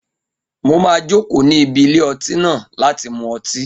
Mo máa jòkó níbi ilé ọtí náà láti mú ọtí